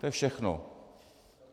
To je všechno.